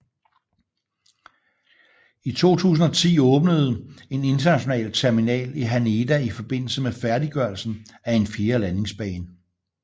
I 2010 åbnede en international terminal i Haneda i forbindelse med færdiggørelsen af en fjerde landingsbane